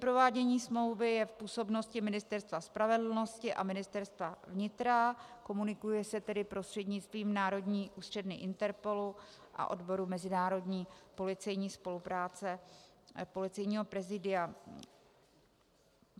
Provádění smlouvy je v působnosti Ministerstva spravedlnosti a Ministerstva vnitra, komunikuje se tedy prostřednictvím národní ústředny INTERPOOL a odboru mezinárodní policejní spolupráce Policejního prezidia.